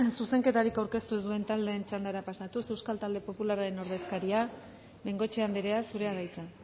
zuzenketari aurkeztu ez duen taldearen txandara pasatuz euskal talde popularraren ordezkaria bengoechea andrea zurea da hitza